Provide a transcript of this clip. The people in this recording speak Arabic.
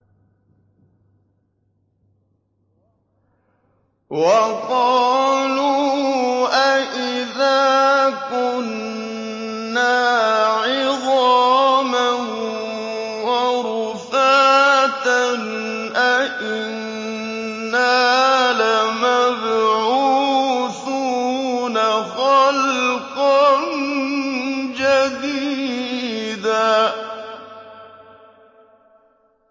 وَقَالُوا أَإِذَا كُنَّا عِظَامًا وَرُفَاتًا أَإِنَّا لَمَبْعُوثُونَ خَلْقًا جَدِيدًا